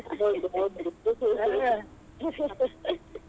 ಹೌದು ಹೌದು.